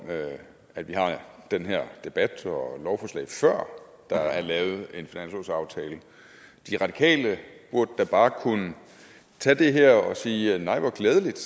at vi har den her debat og det her lovforslag før der er lavet en finanslovsaftale de radikale burde da bare kunne tage det her og sige nej hvor glædeligt